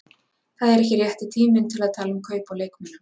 Það er ekki rétti tíminn til að tala um kaup á leikmönnum.